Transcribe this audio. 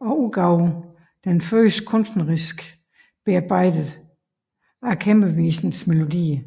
og udgav den første kunstneriske bearbejdelse af kæmpevisernes melodier